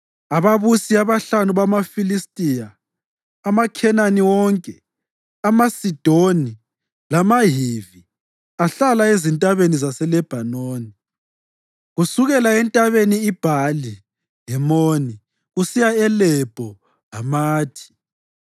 ababusi abahlanu bamaFilistiya, amaKhenani wonke, amaSidoni, lamaHivi ahlala ezintabeni zaseLebhanoni kusukela eNtabeni iBhali-Hemoni kusiya eLebho Hamathi.